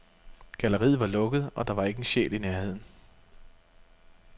Galleriet var lukket, og der var ikke en sjæl i nærheden.